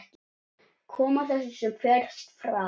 Koma þessu sem fyrst frá.